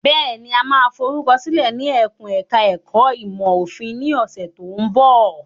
Bẹ́ẹ̀ni, a máa forúkọ sílẹ̀ ní ẹkùn ẹ̀ka ẹ̀kó ìmọ̀ òfin ní ọ̀sẹ̀ tó ń bọ̀.